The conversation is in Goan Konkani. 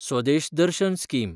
स्वदेश दर्शन स्कीम